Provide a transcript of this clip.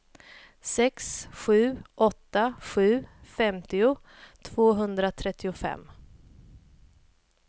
sex sju åtta sju femtio tvåhundratrettiofem